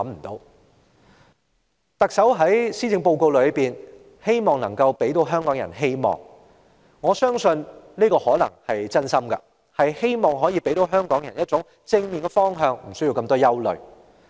特首在施政報告表示，希望帶給香港人希望，我相信她可能真心希望可以給香港人一個正面的方向，無須太多憂慮。